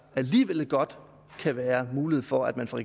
alligevel godt kan være mulighed for at man fra